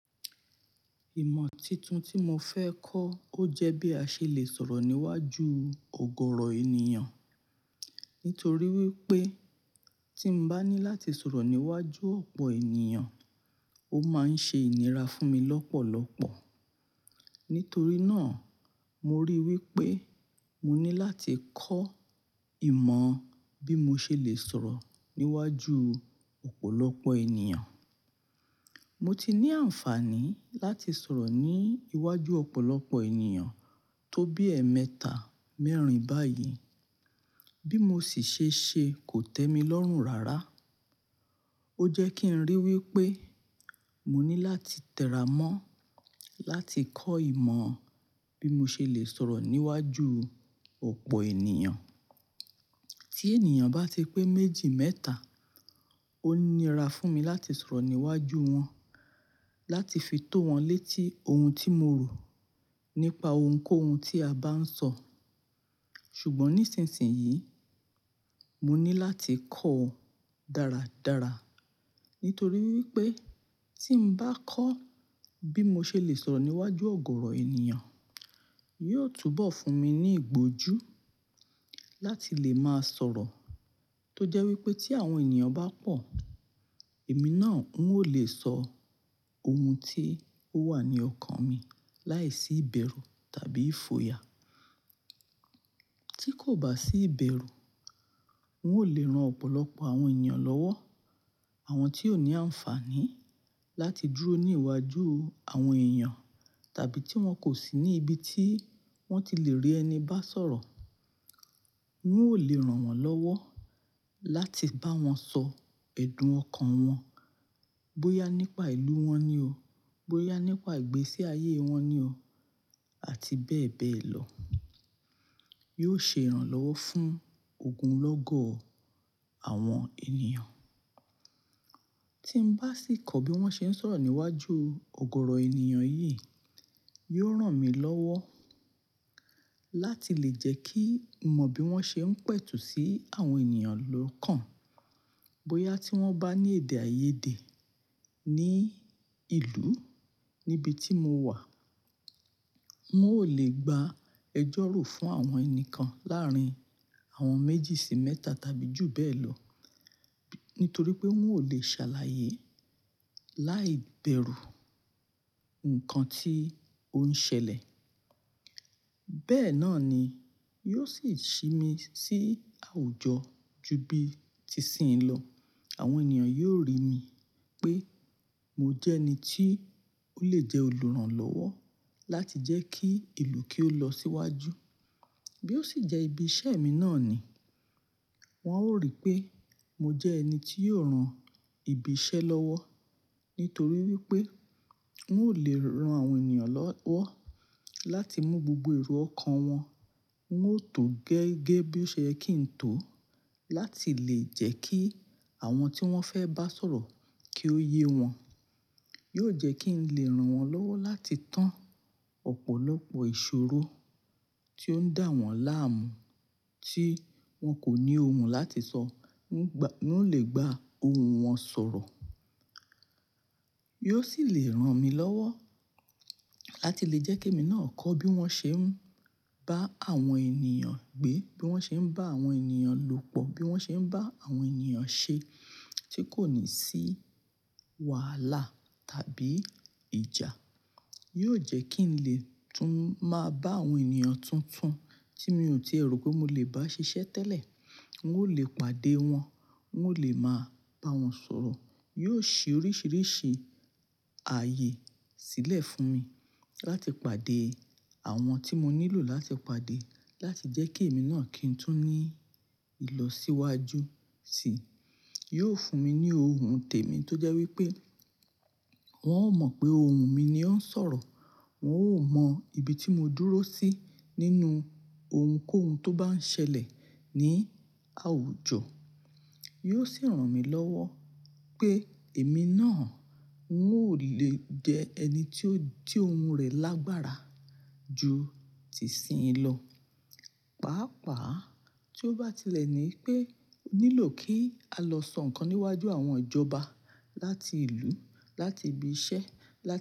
Ìmọ̀ tuntun tí mo fẹ́ kọ́, ó jẹ́ bí a ṣe lè sọ̀rọ̀ níwájú ọ̀gọ̀ọ̀rọ̀ ènìyàn. Nítorí wípé tí ń bá ní láti sọ̀rọ̀ níwájú ọ̀pọ̀ ènìyàn, ó máa ń ṣe inira fún mi lọ́pọ̀lọ́pọ̀. Nítorí náà mo rí i wípé mo ní láti kọ́ ìmọ̀ bí mo ṣe lè sọ̀rọ̀ níwájú ọ̀pọ̀lọpọ̀ ènìyàn. Mo ti ní àǹfààní láti sọ̀rọ̀ ní iwájú ọ̀pọ̀lọpọ̀ ènìyàn tó bí ẹ̀ẹ̀mẹta, mẹ́rin báyìí. Bí mo sì ṣe ṣe kò tẹ́mi lọ́rùn rárá. Ó jẹ́ kí ń rí i wípé mo ní láti tẹra mọ́ láti kọ́ ìmọ̀ bí mo ṣe lè sọ̀rọ̀ níwájú ọ̀pọ̀ ènìyàn. Tí ènìyàn bá ti pé méjì, mẹ́ta, ó nira fún mi láti sọ̀rọ̀ níwájú wọn, láti fi tó wọn létí ohun tí mo rò nípa ohunkóhun tí a bá ń sọ. Ṣùgbọ́n nísinsìnyí, mo ní láti kọ́ dáradára. Nítorí wípé tí ń bá kọ́ bí mo ṣe lè sọ̀rọ̀ níwájú ọ̀gọ̀ọ̀rọ̀ ènìyàn, yóò túbọ̀ fún mi ní ìgbójú láti lè máa sọ̀rọ̀. Tójẹ́ wípé tí àwọn ènìyàn bá pọ̀, èmi náà n ó lè sọ ohun tí ó wà ní ọkàn mi láìsí ìbẹ̀rù tàbí ìfòyà. Tí kò bá sí ìbẹ̀rù, n ó lè ran ọ̀pọ̀lọpọ̀ àwọn ènìyàn lọ́wọ́. Àwọn tí ò ní àǹfààní láti dúró ní iwájú àwọn èèyàn tàbí tí wọ́n kò sí ní ibi tí wọ́n ti lè rí ẹni bá sọ̀rọ̀, n ó lè ran wọ́n lọ́wọ́ láti bá wọn sọ ẹ̀dùn ọkàn wọn. Bóyá nípa ìlú wọn ni o, bóyá nípa ìgbésí ayé wọn ni o àti bẹ́ẹ̀ bẹ́ẹ̀ lọ. Yóò ṣe ìrànlọ́wọ́ fún ogunlọ́gọ̀ àwọn ènìyàn. Tí ń bá sì kọ́ bí wọ́n ṣe ń sọ̀rọ̀ níwájú ọ̀gọ̀ọ̀rọ̀ ènìyàn yìí, yóò ran mi lọ́wọ́ láti lè jẹ́ kí n mọ bí wọ́n ṣe ń pẹ̀tù sí àwọn ènìyàn lọ́kàn. Bóyá tí wọ́n bá ní èdè àìyedè ní ìlú níbi tí mo wà, wọn ó lè gba ẹjọ́ rú fún àwọn ẹni kan láàrín àwọn méjì sí mẹ́ta tàbí jù bẹ́ẹ̀ lọ. Nítorí pé wọn ò lè ṣàlàyé láìbẹ̀rù nǹkan tí ó ń ṣẹlẹ̀. Bẹ́ẹ̀ náà ni, yóò sì ṣi mi sí àwùjọ ju bíi tìsí yẹn lọ. Àwọn ènìyàn yóò rí mi pé mo jẹ́ ẹni tí ó lè jẹ́ olùrànlọ́wọ́ láti jẹ́ kí ìlú kí ó lọ síwájú. Bí ó sì jẹ́ ibi iṣẹ́ mi náà ni, wọn ó rí pé mo jẹ́ ẹni tí yóò ran ìbí ìṣe lọ́wọ́. Nítorí wípé wọn ò lè ran àwọn ènìyàn lọ́wọ́ láti mú gbogbo èrò ọkàn wọn, wọn ó tò ó gẹ́gẹ́ bí ó ṣe yẹ kí ń tò ó láti lè jẹ́ kí àwọn tí wọ́n fẹ́ bá sọ̀rọ̀ kí ó yé wọn. Yóò jẹ́ kí ń lè ran wọ́n lọ́wọ́ láti tán ọ̀pọ̀lọpọ̀ ìṣòro tí ó ń dà wọ́n láàmú tí wọn kò ní ohun láti sọ, wọn gba, wọn lè gba ohun wọn sọ̀rọ̀. Yóò sì lè ran mi lọ́wọ́ láti lè jẹ́ kí èmi náà kọ́ bí wọ́n ṣe ń bá àwọn ènìyàn gbé, bí wọ́n ṣe ń bá àwọn ènìyàn lòpọ̀, bí wọ́n ṣe ń bá àwọn ènìyàn ṣe tí kò ní sí wàhálà tàbí ìjà. Yóò jẹ́ kí ń lè tún máa bá àwọn ènìyàn tuntun tí mi ò tíì rò pé mo lè bá ṣiṣẹ́ tẹ́lẹ̀, wọn ó lè pàdé wọn, wọn ó lè máa bá wọn sọ̀rọ̀. Yóò ṣí oríṣìíríṣìí ààyè sílẹ̀ fún mi láti pàdé àwọn tí mo nílò láti pàdé láti jẹ́ kí èmi náà kí ń tún ní ìlọ̀síwájú sí i. Yóò fún mi ní ohun tèmi tó jẹ́ wípé wọn ó mọ̀ pé ohun mi ni ó ń sọ̀rọ̀. Wọn ó mọ ibi tí mo dúró sí nínú ohunkóhun tó bá ń ṣẹlẹ̀ ní àwùjọ. Yóò sì ran mi lọ́wọ́ pé èmi náà wọn ò lè jẹ ẹni tí ó jí ohun rẹ̀ lágbára ju tìsí yẹn lọ. Pàápàá tí ó bá tilẹ̀ ní pé ó nílò kí a lọ sọ nǹkan níwájú àwọn ìjọba láti ìlú, láti ibi iṣẹ́, láti.